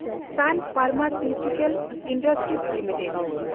ᱥᱟᱱ pharmaceutical industries limited